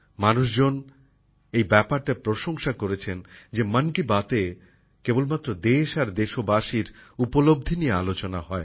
মানুষজন এই ব্যাপারটার প্রশংসা করেছেন যে মন কি বাতএ কেবলমাত্র দেশ আর দেশবাসীর উপলব্ধি নিয়ে আলোচনা হয়